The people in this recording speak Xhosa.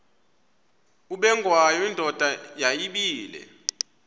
ubengwayo indoda yayibile